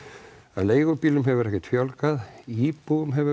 að leigubílum hefur ekkert fjölgað íbúum hefur